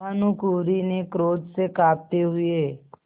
भानुकुँवरि ने क्रोध से कॉँपते हुए